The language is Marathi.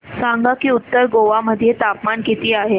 सांगा की उत्तर गोवा मध्ये तापमान किती आहे